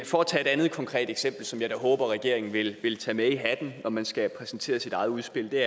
for at tage et andet konkret eksempel som jeg da håber regeringen vil vil tage med i hatten når man skal præsentere sit eget udspil vil